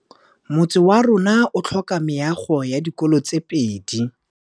Motse warona o tlhoka meago ya dikolô tse pedi.